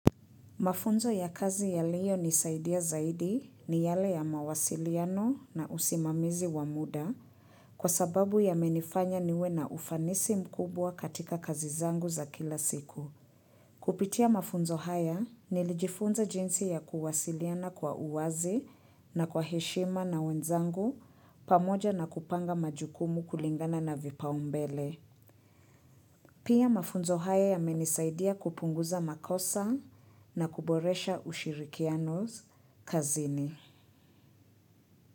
Mafunzo ya kazi yaliyo nisaidia zaidi ni yale ya mawasiliano na usimamizi wa muda kwa sababu yamenifanya niwe na ufanisi mkubwa katika kazi zangu za kila siku. Kupitia mafunzo haya nilijifunza jinsi ya kuwasiliana kwa uwazi na kwa heshima na wenzangu pamoja na kupanga majukumu kulingana na vipaumbele. Pia mafunzo haya yamenisaidia kupunguza makosa na kuboresha ushirikianos kazini.